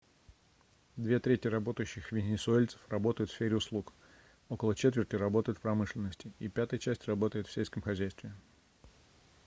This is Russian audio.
две трети работающих венесуэльцев работают в сфере услуг около четверти работают в промышленности и пятая часть работает в сельском хозяйстве